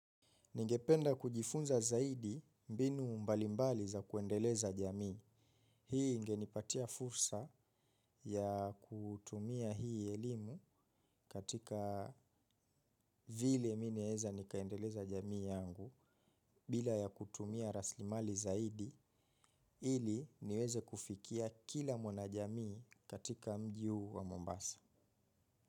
Ningependa kujifunza zaidi mbinu mbalimbali za kuendeleza jamii. Hii ingenipatia fursa ya kutumia hii elimu katika vile mi naeza nikaendeleza jamii yangu bila ya kutumia rasilimali zaidi ili niweze kufikia kila mwana jamii katika mji huu wa mombasa.